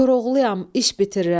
Koroğluyam, iş bitirirəm.